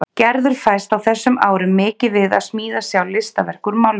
Gerður fæst á þessum árum mikið við að smíða sjálf listaverk úr málmum.